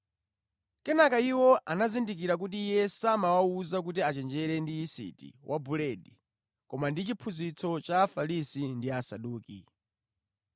Kenaka iwo anazindikira kuti Iye samawawuza kuti achenjere ndi yisiti wa buledi koma ndi chiphunzitso cha Afarisi ndi Asaduki.